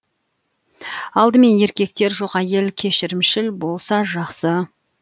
алдымен еркектер жоқ әйел кешірімшіл болса жақсы